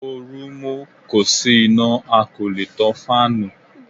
Ooru mú, kò sí iná a kò lè tan fáànù.